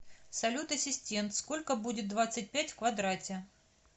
салют ассистент сколько будет двадцать пять в квадрате